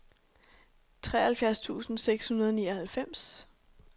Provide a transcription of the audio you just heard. treoghalvfjerds tusind seks hundrede og nioghalvfems